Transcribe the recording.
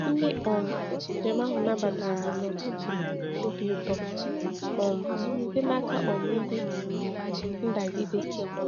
Ndị um njem ahụ nabatara ha n’ụtụtụ obi ụtọ um site n’aka um ndị ndagide.